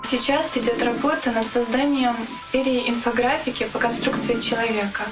сейчас идёт работа над созданием или инфографики по конструкции человек